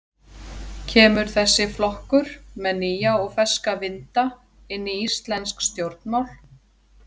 Kemur þessi flokkur með nýja og ferska vinda inn í íslensk stjórnmál?